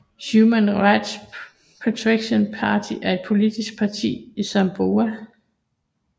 Human Rights Protection Party er et politisk parti i Samoa